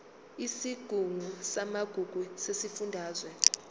isigungu samagugu sesifundazwe